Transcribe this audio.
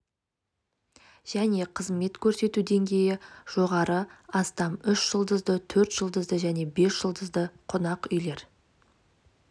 және қызмет көрсету деңгейі жоғары астам үш жұлдызды төрт жұлдызды және бес жұлдызды қонақ үйлер